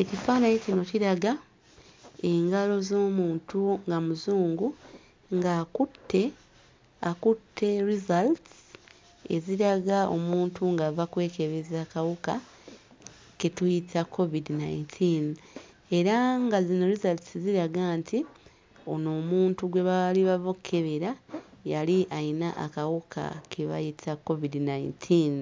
Ekifaananyi kino kiraga engalo z'omuntu nga Muzungu ng'akutte, akutte results eziraga omuntu ng'ava kwekebeza akawuka ke tuyita KKOVIDI nineteen era nga zino results ziraga nti ono omuntu gwe baali bava okkebera yali ayina akawuka ke bayita KKOVIDI nineteen